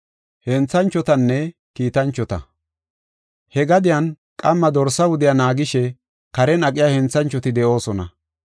He gadiyan qamma dorsa wudiya naagishe karen aqiya henthanchoti de7oosona.